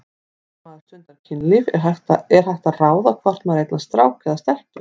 Þegar maður stundar kynlíf er hægt að ráða hvort maður eignast strák eða stelpu?